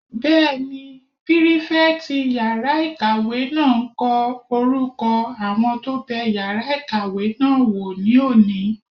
Bẹ́ẹ̀ni, pírífẹ̀tì yàrá-ìkàwé náà n kọ orúkọ àwọn tó bẹ yàrá ìkàwé náà wò ní òní